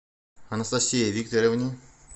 анастасии викторовне